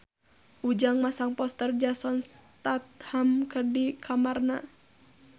Ujang masang poster Jason Statham di kamarna